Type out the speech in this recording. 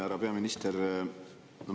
Härra peaminister!